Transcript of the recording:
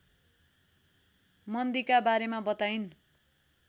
मन्दीका बारेमा बताइन्